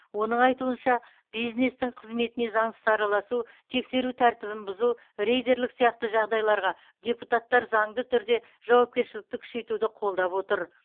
оның айтуынша бизнестің қызметіне заңсыз араласу тексеру тәртібін бұзу рейдерлік сияқты жағдайларға депутаттар заңды түрде жауапкершілікті күшейтуді қолдап отыр